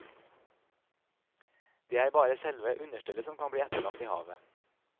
Det er bare selve understellet som kan bli etterlatt i havet.